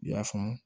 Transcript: I y'a faamu